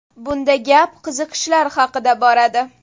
Bunda gap qiziqishlar haqida boradi.